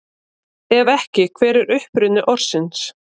Ef ekki, hver er uppruni orðsins?